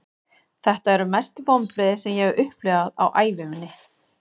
Þetta eru mestu vonbrigði sem ég hef upplifað á ævi minni.